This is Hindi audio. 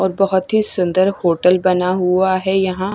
और बहोत ही सुंदर होटल बना हुआ है यहां।